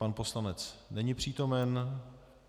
Pan poslanec není přítomen.